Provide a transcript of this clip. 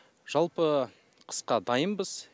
жалпы қысқа дайынбыз